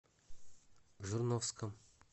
жирновском